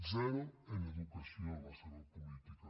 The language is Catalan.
zero en educació la seva política